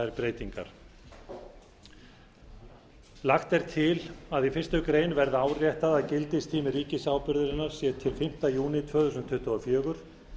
þær breytingar lagt er til að í fyrstu grein verði áréttað að gildistími ríkisábyrgðarinnar sé til fimmta júní tvö þúsund tuttugu og fjögur